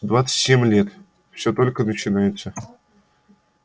двадцать семь лет всё только начинается